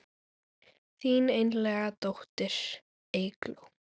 Þín einlæga dóttir Eygló.